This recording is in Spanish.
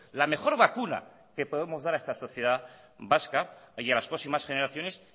la mejor vacuna que podemos dar a esta sociedad vasca y a las próximas generaciones